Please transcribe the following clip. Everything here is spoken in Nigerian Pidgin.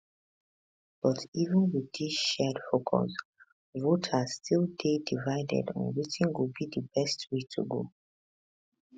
but even wit dis shared focus voters still dey divided on wetin go be di best way to go